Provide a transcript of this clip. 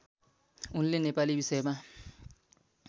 उनले नेपाली विषयमा